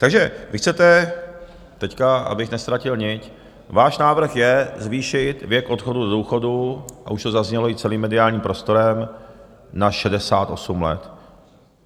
Takže vy chcete teď, abych neztratil nit - váš návrh je zvýšit věk odchodu do důchodu, a už to zaznělo i celým mediálním prostorem, na 68 let.